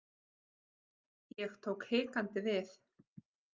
Ég tók hikandi við.